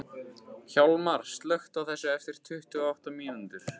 Hjalmar, slökktu á þessu eftir tuttugu og átta mínútur.